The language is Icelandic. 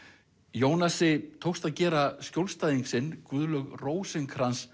Jónasi tókst að gera skjólstæðing sinn Guðlaug Rósinkranz